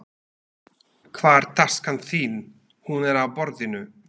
Hvar taskan þín? Hún er á borðinu.